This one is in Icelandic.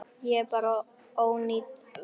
Þetta er bara ónýt vertíð.